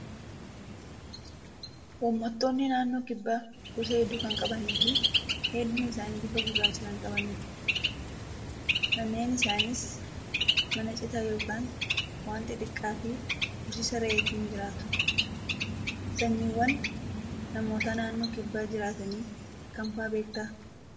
Uummattoonni naannoo kibbaa gosa hedduu kan qabanii fi hedduun isaanii bifa gurraacha kan qabanidha. Manneen isaaniis mana citaa yookaan waan xixiqqaa fi horsiisa re'eetiin jiraatu. Sanyiiwwan namoota naannoo kibbaa jiraatanii kam fa'aa beektaa?